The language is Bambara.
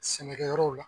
Sɛnɛkɛ yɔrɔw la